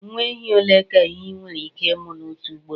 Nwa ehi ole ka ehi nwere ike ịmụ n'otu ugboro